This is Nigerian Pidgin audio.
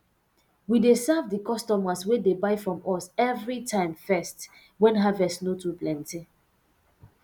we dey serve di customers wey dey buy from us evri time first wen harvest no too plenty